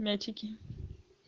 мячики